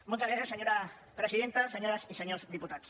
moltes gràcies senyora presidenta senyores i senyors diputats